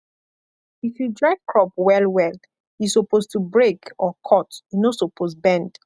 if you dry crop well well e suppose to break or cut e no suppose bend